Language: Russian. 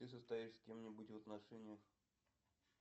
ты состоишь с кем нибудь в отношениях